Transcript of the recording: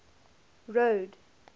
road